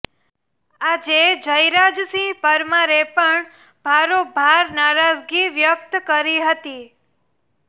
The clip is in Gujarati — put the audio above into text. આજે જયરાજસિંહ પરમારે પણ ભારોભાર નારાજગી વ્યક્ત કરી હતી